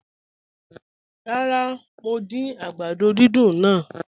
Ràrà, mo dín àgbàdó dídùn náà